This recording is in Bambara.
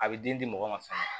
A bɛ den di mɔgɔ ma fɛnɛ